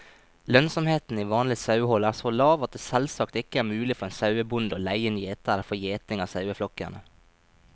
Lønnsomheten i vanlig sauehold er så lav at det selvsagt ikke er mulig for en sauebonde å leie inn gjetere for gjeting av saueflokkene.